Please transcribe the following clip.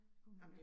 Kunne man